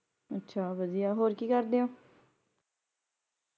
ਅੱਛਾ ਵਦਿਆ ਹੋਰ ਕਿ ਕਰਦੇ ਹੋ?